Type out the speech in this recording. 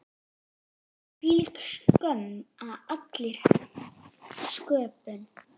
Hvílík skömm á allri sköpun.